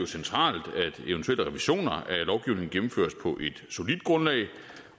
centralt at gennemføres på et solidt grundlag